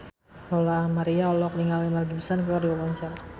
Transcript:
Lola Amaria olohok ningali Mel Gibson keur diwawancara